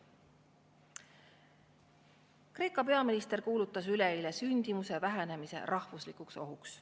Kreeka peaminister kuulutas üleeile sündimuse vähenemise rahvuslikuks ohuks.